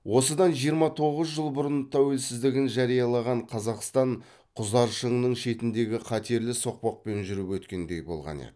осыдан жиырма тоғыз жыл бұрын тәуелсіздігін жариялаған қазақстан құзар шыңның шетіндегі қатерлі соқпақпен жүріп өткендей болған еді